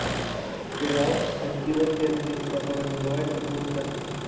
сериал аттила тенки который называется бункер